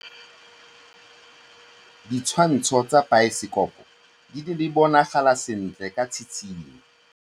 Ditshwantshô tsa biosekopo di bonagala sentle ka tshitshinyô.